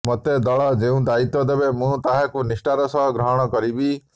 ମୋତେ ଦଳ ଯେଉଁ ଦାୟିତ୍ୱ ଦେବ ମୁଁ ତାହାକୁ ନିଷ୍ଠାର ସହ ଗ୍ରହଣ କରିବି